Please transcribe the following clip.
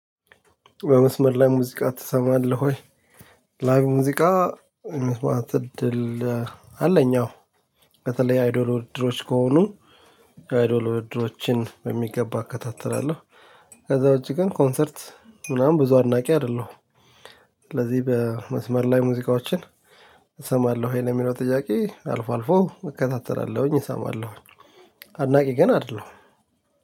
በመስመር ላይ ሙዚቃ ትሰማለህ ወይ? ላይቭ ሙዚቃ መስማት እድል አለኝ። አዎ በተለይ አይዶል ውድድሮች ከሆኑ አይዶል ውድድሮችን በሚገባ እከታተላለሁ። ከዛ ውጪ ግን ኮንሰርት ምናምን ብዙ አድናቂ አይደለሁም። ስለዚህ በመስመር ላይ ሙዚቃዎችን እሰማለሁ ይሄ ለሚለው ጥያቄ አልፎ አልፎ እከታተላለሁኝ እሰማለሁኝ። አድናቂ ግን አይደለሁም።